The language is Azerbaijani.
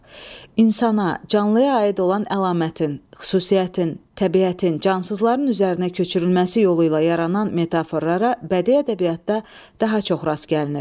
İnsana, canlıya aid olan əlamətin, xüsusiyyətin, təbiətin, cansızların üzərinə köçürülməsi yolu ilə yaranan metaforlara bədii ədəbiyyatda daha çox rast gəlinir.